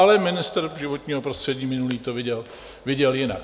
Ale ministr životního prostředí minulý to viděl jinak.